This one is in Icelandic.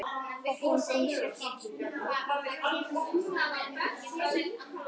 Fertram, ég kom með sextíu og tvær húfur!